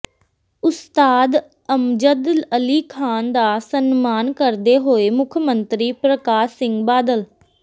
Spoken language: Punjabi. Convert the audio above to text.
ਉਸਤਾਦ ਅਮਜਦ ਅਲੀ ਖਾਨ ਦਾ ਸਨਮਾਨ ਕਰਦੇ ਹੋਏ ਮੁੱਖ ਮੰਤਰੀ ਪ੍ਰਕਾਸ਼ ਸਿੰਘ ਬਾਦਲ